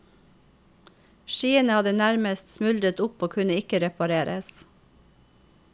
Skiene hadde nærmest smuldret opp og kunne ikke repareres.